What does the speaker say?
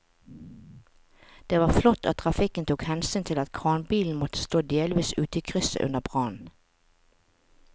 Det var flott at trafikken tok hensyn til at kranbilen måtte stå delvis ute i krysset under brannen.